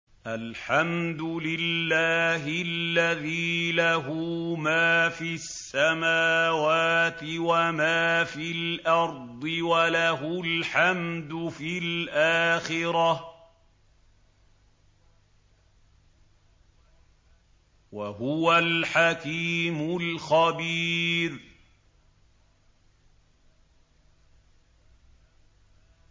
الْحَمْدُ لِلَّهِ الَّذِي لَهُ مَا فِي السَّمَاوَاتِ وَمَا فِي الْأَرْضِ وَلَهُ الْحَمْدُ فِي الْآخِرَةِ ۚ وَهُوَ الْحَكِيمُ الْخَبِيرُ